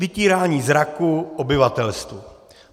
Vytírání zraku obyvatelstvu.